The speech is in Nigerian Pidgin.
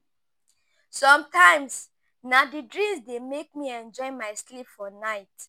Sometimes, na di dreams dey make me enjoy my sleep for night.